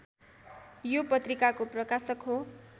यो पत्रिकाको प्रकाशक हो।